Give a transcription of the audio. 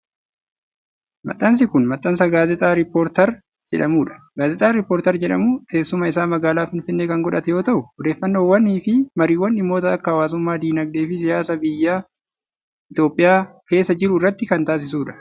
Maxxansi kun, maxxansa gaazexaa rippoortarii jedhamuu dha. Gaazexaan rippoortarii jedhamu teessuma isaa magaalaa Finfinnee kan godhate yoo ta'u, odeeffannoowwan fi mariiwwan dhimmoota akka hawaasummaa, diinagdee fi siyaasaa biyya Itoophiyaa keessa jiruu irratti kan taasisuu dha.